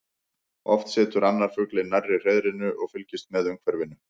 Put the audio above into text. Oft situr annar fuglinn nærri hreiðrinu og fylgist með umhverfinu.